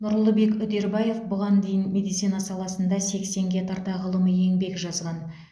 нұрлыбек үдербаев бұған дейін медицина саласында сексенге тарта ғылыми еңбек жазған